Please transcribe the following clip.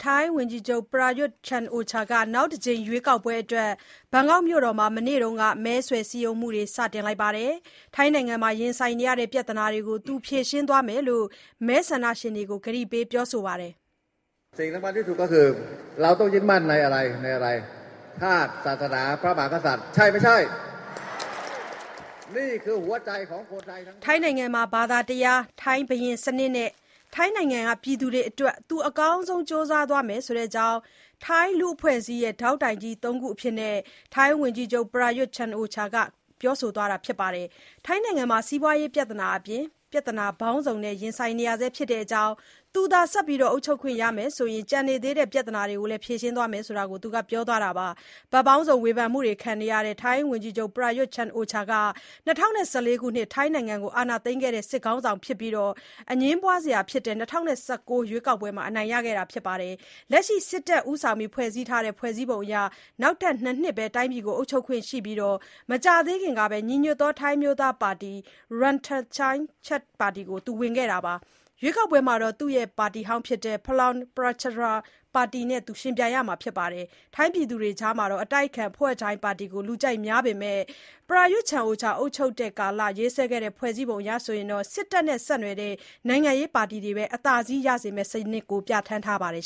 ထိုင်းဝန်ကြီးချုပ် ပရာရွတ်ချန်အိုချာ (Prayut Chan-o-cha) က နောက်တကြိမ် ရွေးကောက်ပွဲအတွက် ဘန်ကောက်မြို့မှာ မနေ့က မဲဆွယ်စည်းရုံးမှုတွေ စတင်ပြီး ထိုင်းနိုင်ငံရင်ဆိုင်နေရတဲ့ ပြသနာတွေကို ဖြေရှင်းသွားမယ့်အကြောင်း မဲဆန္ဒရှင်တွေကို မဲဆန္ဒရှင်တွကို ကတိပေးပြောဆိုပါတယ်။ ဘာသာတရား၊ ထိုင်း ဘုရင်စနစ်နဲ့ ထိုင်းပြည်သူတွေအတွက် အကောင်းဆုံး ကြိုးစားသွားမယ့်အကြောင်း ထိုင်းလူ့အဖွဲ့အစည်းရဲ့ ဒေါက်တိုင်ကြီးသုံးခုအဖြစ် ဝန်ကြီးချုပ်ပရာရွတ် ကိုးကားပြောဆိုသွားပါတယ်။ ထိုင်းနိုင်ငံမှာ စီးပွားရေး ပြသနာအပါအဝင် ပြသနာပေါင်းစုံ ရင်ဆိုင်နေရဆဲဖြစ်တဲ့အကြောင်းနဲ့ သူသာ အုပ်ချုပ်ခွင့်ဆက်ရမယ်ဆိုရင် ကျန်နေသေးတဲ့ ပြသနာတွေကို ဖြေရှင်းပေးသွားမယ်လို့လည်း ဝန်ကြီးချုပ်ပရာရွတ်ကပြောဆိုပါတယ်။ ဘက်ပေါင်းစုံ ဝေဖန်မှုတွေခံနေရတဲ့ ဝန်ကြီးချုပ်ပရာရွတ်ဟာ ၂၀၁၄ ခုနှစ် ထိုင်းနိုင်ငံကို အာဏာသိမ်းခဲ့တဲ့ စစ်ခေါင်းဆောင်ဖြစ်ပြီး အငြင်းပွားကြတဲ့ ၂၀၁၉ ရွေးကောက်ပွဲမှာ အနိုင်ရခဲ့ပါတယ်။ လက်ရှိ စစ်တပ်ဦးဆောင်ဖွဲ့စည်းထားတဲ့ ဖွဲစည်းပုံအရ နောက်ထပ် ၂ နှစ်ပဲ တိုင်းပြည်ကို အုပ်ချုပ်ခွင့်ရှိပြီး မကြာသေးခင်ကပဲ ညီညွတ်သော ထိုင်းအမျိုးသားပါတီ (Ruam Thai Sang Chart) ပါတီကို ဝင်လိုက်တာပါ။ ရွေးကောက်ပွဲမှာ သူ့ရဲ့ပါတီဟောင်း ပလမ်ပရာချပ်ပါတီ (Palang Pracharath Party, PPRP) နဲ့ ယှဉ်ပြိင်ရမှာဖြစ်ပါတယ်။ ထိုင်းပြည်သူတွေအကြား အတိုက်အခံ ပျုထိုင်း (Pheu Thai) ပါတီကို လူကြိုက်များပေမဲ့လည်း ပရာရွတ်အုပ်ချုပ်တဲ့ကာလ ရေးဆွဲခဲ့တဲ့ ဖွဲ့စည်းပုံအရ စစ်တပ်နဲ့ဆက်နွယ်တဲ့ နိုင်ငံရေးပါတီတွေပဲ အသားစီးရစေမယ့် စနစ်ကို ပြဌာန်းထားပါတယ်